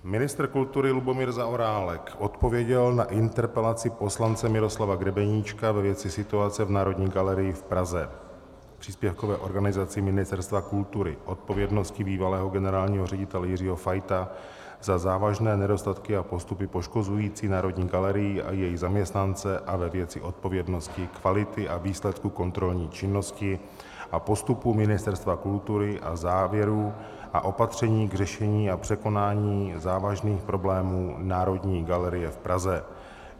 Ministr kultury Lubomír Zaorálek odpověděl na interpelaci poslance Miroslava Grebeníčka ve věci situace v Národní galerii v Praze, příspěvkové organizaci Ministerstva kultury, odpovědnosti bývalého generálního ředitele Jiřího Fajta za závažné nedostatky a postupy poškozující Národní galerii a její zaměstnance a ve věci odpovědnosti, kvality a výsledku kontrolní činnosti a postupu Ministerstva kultury a závěrů a opatření k řešení a překonání závažných problémů Národní galerie v Praze.